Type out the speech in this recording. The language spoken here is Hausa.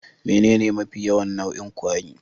Menene mafi yawan nau'in kwari?